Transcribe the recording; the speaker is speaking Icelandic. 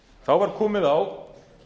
þá var komið á